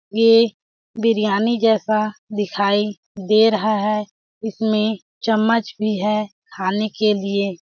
ये बिरयानी जैसा दिखाई दे रहा है। इसमें चम्मच भी है खाने के लिए।